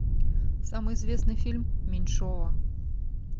самый известный фильм меньшова